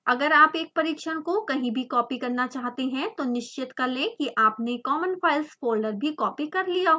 अगर आप एक परिक्षण को कहीं भी कॉपी करना चाहते हैं तो निश्चित कर लें कि आपने common_files फोल्डर भी कॉपी कर लिया हो